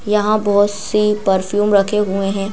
यहां बहुत सी परफ्यूम रखे हुए हैं।